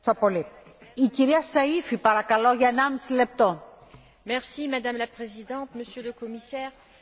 Madame la Présidente, Monsieur le Commissaire, je voudrais tout d'abord remercier mes deux collègues pour leur rapport.